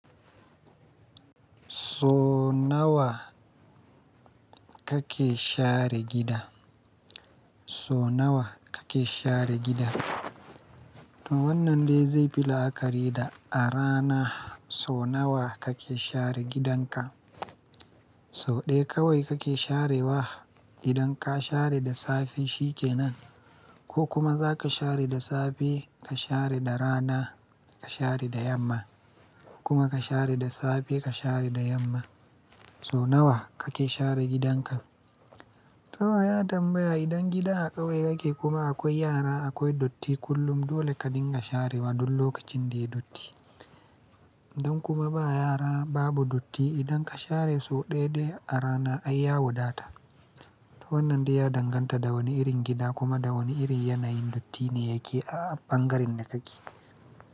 So nawa kake share gida? So nawa kake share gida? To wannan dai zai fi la'akari da a rana so nawa kake share gidanka? So ɗaya kawai kake sharewa idan ka share da safe shi kenan, ko kuma za ka share da safe, ka share da rana, ka share da yamma, ko kuma ka share da safe, ka share da yamma. So nawa kake share gidanka? To ya tambaya idan gida a kawai kake kuma akwai yara, akwai dutti kullum dole ka dinga sharewa duk lokacin da ya datti. Idan kuma ba yara babu dutti, idan ka share so ɗaya dai a rana ai ya wadata. To wannan dai ya danganta da wane irin gida kuma da wane irin yanayin datti ne yake a ɓangaren da kake.